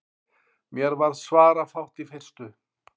Mér varð svarafátt í fyrstu.